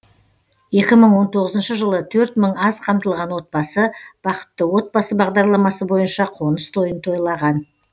екі мың он тоғызыншы жылы төрт мың аз қамтылған отбасы бақытты отбасы бағдарламасы бойынша қоныс тойын тойлаған